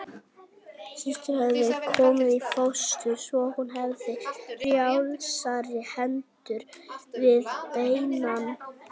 Systu hafði verið komið í fóstur svo hún hefði frjálsari hendur við beinann.